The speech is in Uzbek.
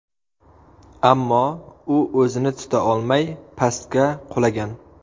Ammo u o‘zini tuta olmay, pastga qulagan.